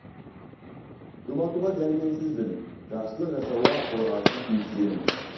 жұбатуға дәрменсізбін жақсылық жасауға қорғансыз кейіптемін